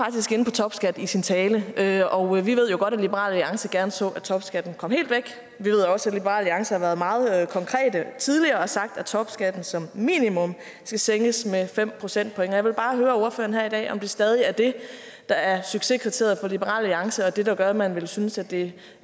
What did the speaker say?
topskat i sin tale tale og vi ved jo godt at liberal alliance gerne så at topskatten kom helt væk vi ved også at liberal alliance har været meget konkret tidligere og har sagt at topskatten som minimum skal sænkes med fem procentpoint jeg vil bare høre ordføreren her i dag om det stadig er det der er succeskriteriet for liberal alliance og det der gør at man ville synes at det